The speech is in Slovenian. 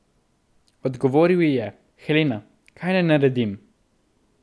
Odgovoril ji je: "Helena, kaj naj naredim?